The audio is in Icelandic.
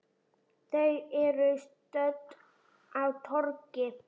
Þau eru stödd á torgi.